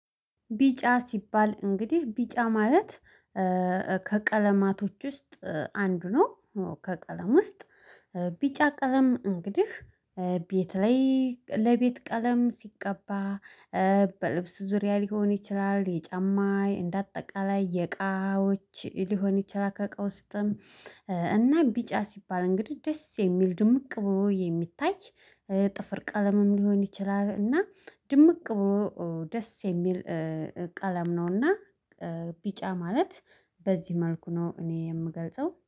ቢጫ ሲባል እንግዲህ ቢጫ ማለት ከቀለማቶች ውስጥ አንዱ ነው። ከቀለም ውስጥ ቢጫ ቀለም እንግዲህ ቤት ላይ ለቤት ቀለም ሲቀባ። በልብስ ዙሪያ ሊሆን ይችላል የጫማ እንደ አጠቃላይ የእቃዎች ሊሆን ይችላል ከ እቃ ውስጥም። እና ቢጫ ሲባል እንግዲህ ደስ የሚል ድምቅ ብሎ የሚታይ ጥፍር ቀለምም ሊሆን ይችላል። እና ድምቅ ብሎ ደስ የሚል ቀለም ነውና። ቢጫ ማለት በዚህ መልኩ ነው እኔ የምገልጸው